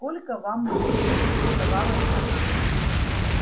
сколько вам лет поинтересовалась она